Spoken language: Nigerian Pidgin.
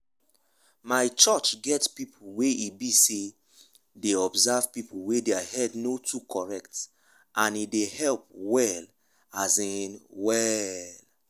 my church get people wey e be say dey observe people wey their head no too correct and e dey help well um well